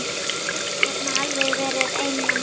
Ég get nú alveg verið ein mamma.